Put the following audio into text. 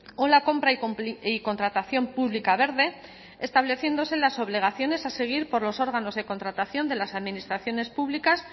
o la compra y contratación pública verde estableciéndose las obligaciones a seguir por los órganos de contratación de las administraciones públicas